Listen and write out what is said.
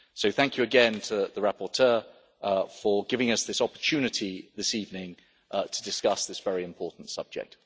Thank you, again, to the rapporteur for giving us this opportunity this evening to discuss this very important subject.